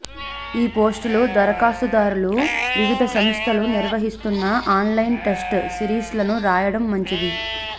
ఈ పోస్టుల దరఖాస్తుదారులు వివిధ సంస్థలు నిర్వహిస్తున్న ఆన్లైన్ టెస్ట్ సిరీస్లను రాయడం మంచిది